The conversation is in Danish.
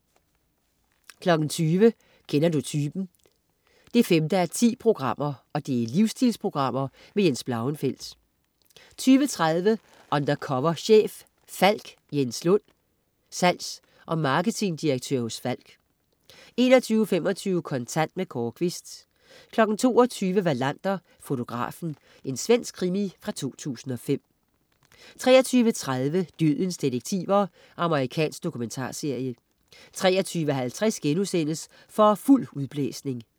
20.00 Kender du typen 5:10. Livsstilsprogram. Jens Blauenfeldt 20.30 Undercover chef. Falck. Jens Lunn, salgs, og marketingdirektør hos Falck 21.25 Kontant. Kåre Quist 22.00 Wallander: Fotografen. Svensk krimi fra 2005 23.30 Dødens detektiver. Amerikansk dokumentarserie 23.50 For fuld udblæsning*